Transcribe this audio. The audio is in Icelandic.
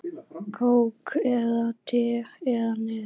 Kók eða te eða Nes?